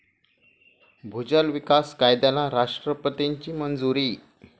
भूजल विकास कायद्याला राष्ट्रपतींची मंजुरी